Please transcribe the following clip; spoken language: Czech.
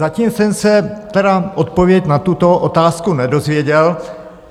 Zatím jsem se tedy odpověď na tuto otázku nedozvěděl.